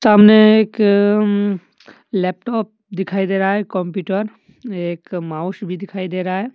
तामने एक अम्म लैपटॉप दिखाई दे रहा है कंप्यूटर एक माउस भी दिखाई दे रहा है।